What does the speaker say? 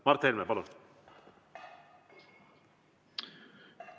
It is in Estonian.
Mart Helme, palun!